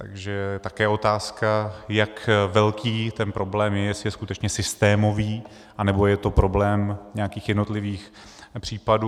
Takže také je otázka, jak velký ten problém je, jestli je skutečně systémový, anebo je to problém nějakých jednotlivých případů.